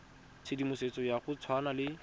tshedimosetso ya go tshwana le